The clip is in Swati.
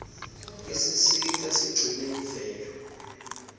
isisita sigcine imvelo